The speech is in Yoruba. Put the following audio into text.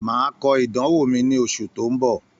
Màá kọ ìdánwò mi ní oṣù tó ń bọ̀